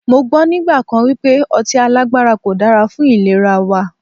Mọ gbọ́ nígbà kan wípé ọtí alágbára kò dára fún ìlera wa.